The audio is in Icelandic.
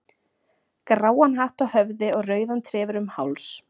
gráan hatt á höfði og rauðan trefil um háls.